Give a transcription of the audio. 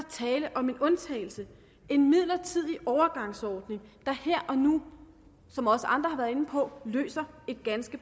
tale om en undtagelse en midlertidig overgangsordning der her og nu som også andre har været inde på løser et